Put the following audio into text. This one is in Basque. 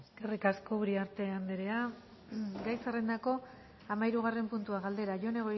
eskerrik asko uriarte anderea gai zerrendako hamahirugarren puntua galdera jone